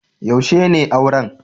Yaushe ne auran?